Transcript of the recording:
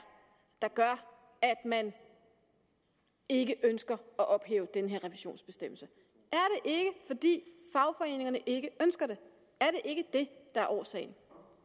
der gør at man ikke ønsker at ophæve den her revisionsbestemmelse er det ikke fagforeningerne ikke ønsker det er det ikke det der er årsagen